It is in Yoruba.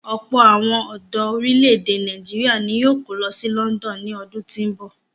Ọ̀pọ̀ àwọn ọ̀dọ orílè-èdè Nàìjíríà ni yóò kó lọ sí London ní ọdún tí ń bọ̀.